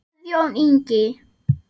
Guðjón Ingi.